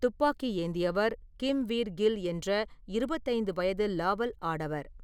துப்பாக்கி ஏந்தியவர் கிம்வீர் கில் என்ற இருவத்து ஐந்து வயது லாவல் ஆடவர்.